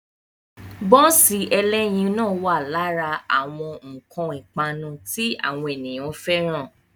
Bọ́nsì ẹlẹ́yin ẹlẹ́yin náà wà lára àwọn nǹkan ipanu tí àwọn ènìyàn fẹ́ràn.